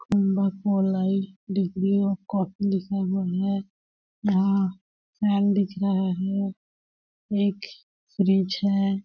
लिखा हुआ है यहाँ फैन दिख रहा है एक फ्रिज है।